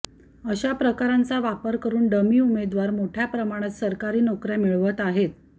अशा प्रकारांचा वापर करून डमी उमेदवार मोठ्या प्रमाणात सरकारी नोकर्या मिळवत आहेत